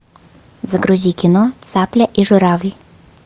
загрузи кино цапля и журавль